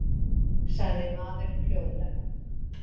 sagði maðurinn hljóðlega.